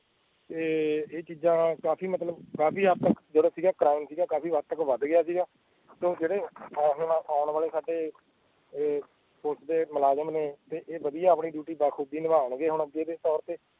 ਇਹ ਚੀਜਾਂ ਕਾਫੀ ਮਤਲੱਬ ਕਾਫੀ ਹੱਦ ਤੱਕ ਕਰਾਉਣ ਸੀਗਾ ਕਾਫੀ ਵਾਦ ਗਿਆ ਤੇ ਜੇੜੇ ਆਣ ਵਾਲੇ ਸਾਡੇ ਪੁਲਿਸ ਦੇ ਮੁਲਾਜ਼ਮ ਤੇ ਏਹ ਵਦਿਹਾ ਆਪਣੀ ਡਿਊਟੀ ਨਿਬਦੇ ਬਾਖੂਬੀ ਨਿਬਾਨ ਗਏ ਅੱਜ ਦੇ ਤੋਰ ਤੇ